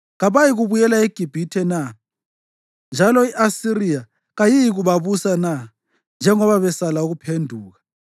Kabayikubuyela eGibhithe na, njalo i-Asiriya kayiyikubabusa na njengoba besala ukuphenduka?